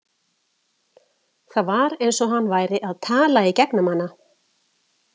Það var eins og hann væri að tala í gegnum hana.